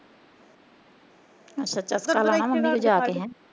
ਅੱਛਾ ਅੱਛਾ ਚਸਕਾ ਲਾਣਾ ਮੰਮੀ ਨੂੰ ਜਾ ਕੇ।